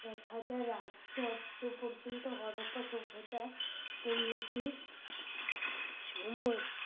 এক হাজার আটশো অব্দ পর্যন্ত হরপ্পা সভ্যতা উন্নতীর সময়